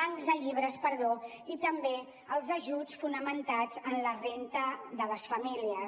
bancs de llibres i també pels ajuts fonamentats en la renda de les famílies